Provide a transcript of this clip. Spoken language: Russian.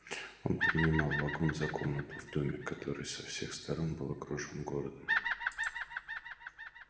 он принимал вагон за комнату в доме который со всех сторон был окружён городом